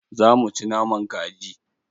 Za mu ci naman kaji.